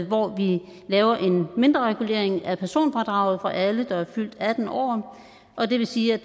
hvor vi laver en mindreregulering af personfradraget for alle der er fyldt atten år og det vil sige at